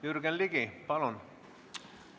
Jürgen Ligi, palun!